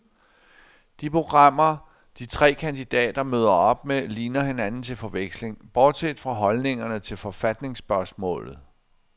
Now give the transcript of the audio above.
De programmer, de tre kandidater møder op med, ligner hinanden til forveksling, bortset fra holdningerne til forfatningsspørgsmålet.